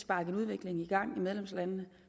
sparke en udvikling i gang i medlemslandene